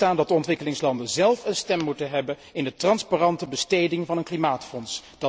Voorop moet staan dat de ontwikkelingslanden zelf een stem moeten hebben in de transparante besteding van een klimaatfonds.